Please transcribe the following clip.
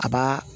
A b'a